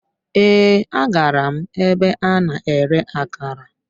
Ee, agara m ebe a na-ere akara